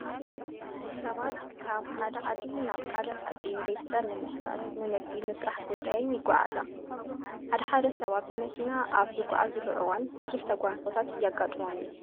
ሰባት ካብ ሓደ ዓዲ ናብ ካሊእ ዓዲ ንቤተሰብ ንምሕታት፣ ንንግዲ፣ ንስራሕ ጉዳይን ይጓዓያዝ። ሓደ ሓደ ሰባት ብመኪና ኣብ ዝጓዓዓዝሉ እዋን ብዙሕ ተጓንፎታት የጓጥሞም እዩ።